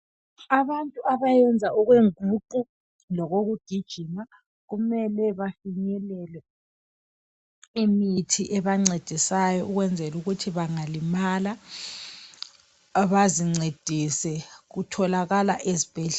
abantu abayenza okwenguqu lokugijima kumele bafinyelele imithi ebancedisayo ukwenzela ukuthi bangalimala bazincedise kutholakala ezibhedlela